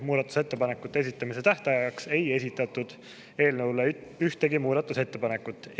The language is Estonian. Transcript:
Muudatusettepanekute esitamise tähtajaks ei esitatud eelnõu kohta ühtegi muudatusettepanekut.